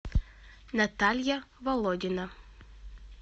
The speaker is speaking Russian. наталья володина